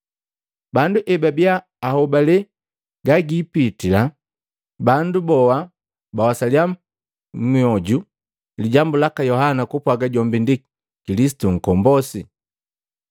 Bandu ebabiya ahobale gagiipitila, bandu boha bawasaliya mmyoju lijambu laka Yohana kupwaga jombi ndi Kilisitu Nkombosi.